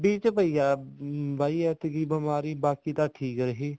ਚ ਪਈ ਹੈ ਬਾਈ ਐਤਕੀ ਬਿਮਾਰੀ ਬਾਕੀ ਤਾਂ ਠੀਕ ਹੈ ਜੀ